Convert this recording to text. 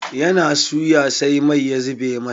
Ya na suya sai mai ya zuɓe masa.